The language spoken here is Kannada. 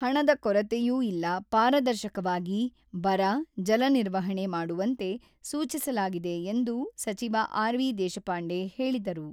ಹಣದ ಕೊರತೆಯೂ ಇಲ್ಲ, ಪಾರದರ್ಶಕವಾಗಿ ಬರ, ಜಲ ನಿರ್ವಹಣೆ ಮಾಡುವಂತೆ ಸೂಚಿಸಲಾಗಿದೆ ಎಂದು ಸಚಿವ ಆರ್.ವಿ.ದೇಶಪಾಂಡೆ ಹೇಳಿದರು.